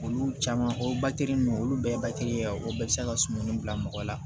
Olu caman o ninnu olu bɛɛ ye ye o bɛɛ bɛ se ka sumani bila mɔgɔ la